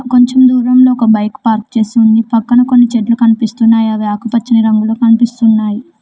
కొంచెం దూరంలో ఒక బైక్ పార్క్ చేసి ఉంది పక్కన కొన్ని చెట్లు కనిపిస్తున్నాయి అవి ఆకుపచ్చని రంగులొ కనిపిస్తున్నాయి.